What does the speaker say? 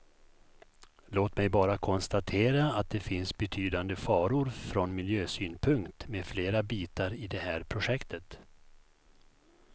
Låt mig bara konstatera att det finns betydande faror från miljösynpunkt med flera bitar i det här projektet.